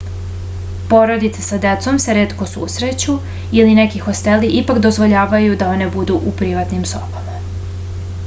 porodice sa decom se retko susreću ali neki hosteli ipak dozvoljavaju da one budu u privatnim sobama